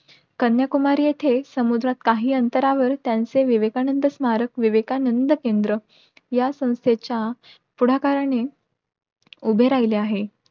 कन्याकुमारी येथे समुद्रात काही अंतरावर त्यांचे विवेकानंद स्मारक विवेकानंद केंद्र या संस्थेच्या पुढाकाराने उभे राहिले आहे.